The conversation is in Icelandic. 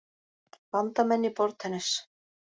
Bandamenn í borðtennis